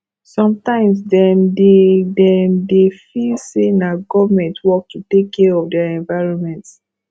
sometimes dem dey dem dey feel sey na government work to take care of their environment